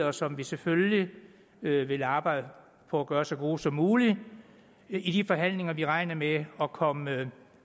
og som vi selvfølgelig vil arbejde for at gøre så gode som muligt i de forhandlinger vi regner med at komme